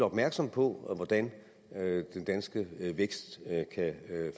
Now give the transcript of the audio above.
opmærksomme på hvordan den danske vækst kan